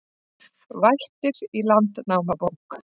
Vættir í Landnámabók